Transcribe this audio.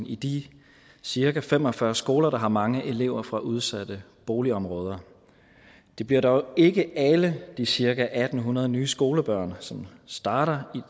i de cirka fem og fyrre skoler der har mange elever fra udsatte boligområder det bliver dog ikke alle de cirka en hundrede nye skolebørn som starter